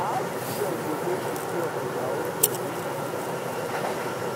how students go dey secure for dia hostels if security pipo no work